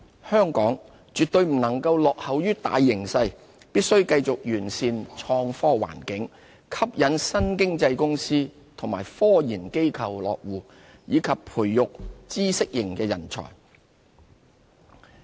香港絕不能落後於大形勢，必須繼續完善創科環境、吸引新經濟公司和科研機構落戶，以及培育知識型人才。